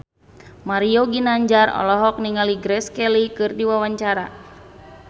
Mario Ginanjar olohok ningali Grace Kelly keur diwawancara